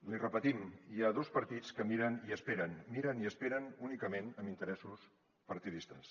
l’hi repetim hi ha dos partits que miren i esperen miren i esperen únicament amb interessos partidistes